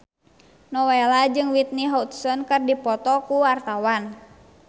Nowela jeung Whitney Houston keur dipoto ku wartawan